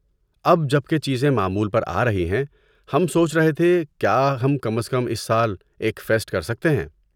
اب جب کہ چیزیں معمول پر آ رہی ہیں، ہم سوچ رہے تھے کیا ہم کم از کم اس سال ایک فیسٹ کر سکتے ہیں۔